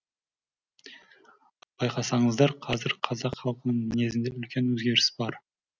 байқасаңыздар қазір қазақ халқының мінезінде үлкен өзгеріс бар